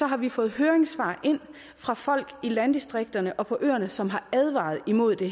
har vi fået høringssvar ind fra folk i landdistrikterne og på øerne som har advaret imod det